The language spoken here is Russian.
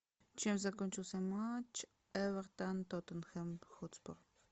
чем закончился матч эвертон тоттенхэм хотспур